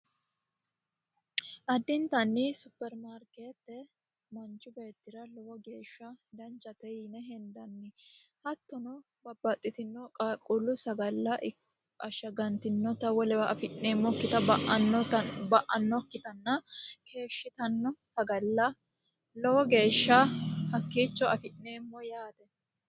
Adintanni supermarket manchi beetira danchate yinanni. Hattono babbaxino qaaqqullu sagallanna ba'anokki sagale hakkiicho afi'neemmo yaate.